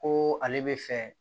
Ko ale bɛ fɛ